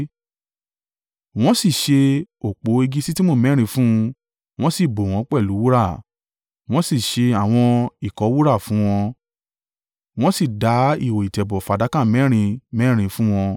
Wọ́n sì ṣe òpó igi ṣittimu mẹ́rin fún un wọ́n sì bò wọ́n pẹ̀lú wúrà. Wọ́n sì ṣe àwọn ìkọ́ wúrà fún wọn, wọ́n sì dá ihò ìtẹ̀bọ̀ fàdákà mẹ́rin mẹ́rin fún wọn.